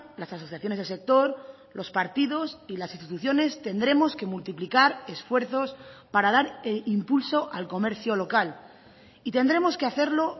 las asociaciones del sector los partidos y las instituciones tendremos que multiplicar esfuerzos para dar impulso al comercio local y tendremos que hacerlo